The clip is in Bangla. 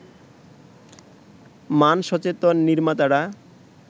মান-সচেতন নির্মাতারা